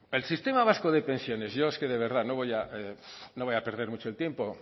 el sistema vasco de pensiones yo es que de verdad no voy a perder mucho el tiempo